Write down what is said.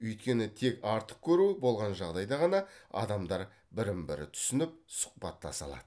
өйткені тек артық көру болған жағдайда ғана адамдар бірін бірі түсініп сұхбаттаса алады